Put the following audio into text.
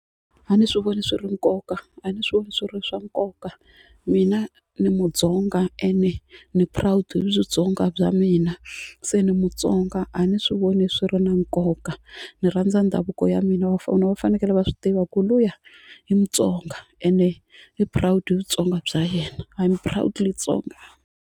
A ni swi voni swi ri nkoka a ni swi voni swi ri swa nkoka mina ni Mutsonga ende ni proud hi Vutsonga bya mina se ni Mutsonga a ni swi voni swi ri na nkoka ni rhandza ndhavuko ya mina va fanekele va swi tiva ku luya i Mutsonga ende i proud hi Vutsonga bya yena I'm proudly Tsonga.